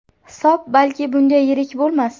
Hisob balki bunday yirik bo‘lmas.